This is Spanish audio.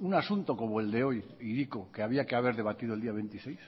un asunto como el de hoy hiriko que había que haber debatido el día veintiséis